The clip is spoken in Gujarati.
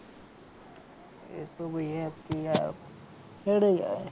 એ તો ભાઈ હેડે જાય.